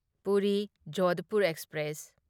Puri Jodhpur express